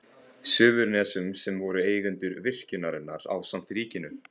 Suðurnesjum sem voru eigendur virkjunarinnar ásamt ríkinu.